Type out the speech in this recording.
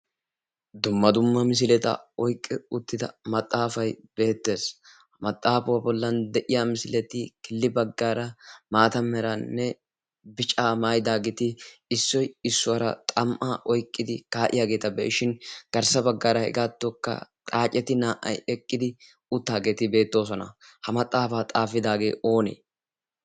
dumma dumma misileta oyqqi uttida maxaafay beettees ha maxaafuwaa bollan de'iya misileti killi baggaara maata meraanne bicaa maayidaageeti issoy issuwaara xam'a oyqqidi kaa'iyaageeta beyshin garssa baggaara hegaattokka xaaceti naa'ay eqqidi uttaageeti beettoosona ha maxaafaa xaafidaagee oonee?